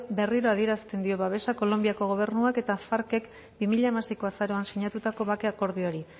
berriro adierazten dio babesa kolonbiako gobernuak eta farck bi mila hamaseiko azaroan sinatutako bake akordioari